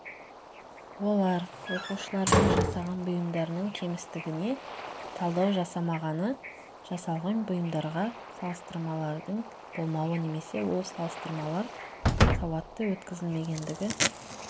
олар оқушылардың жасаған бұйымдарының кемістігіне талдау жасалмағаны жасалған бұйымдарға салыстырмалардың болмауы немесе ол салыстырмалар сауатты өткізілмегендігі